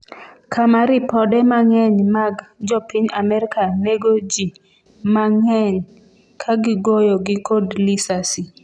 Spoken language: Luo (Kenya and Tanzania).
kama ripode mang'eny mag jopiny Amerka nego jii manng'eny ka gigoyogi kod lisasi